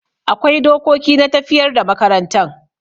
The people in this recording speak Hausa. Akwai dokoki na tafiyar da makarantan.